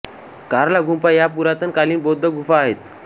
कार्ला गुंफा या पुरातन कालीन बौद्ध गुंफा आहेत